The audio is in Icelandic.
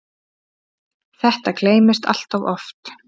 Þetta gleymist allt of oft.